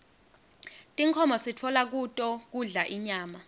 tinkhomo sitfola kuto kudla inyama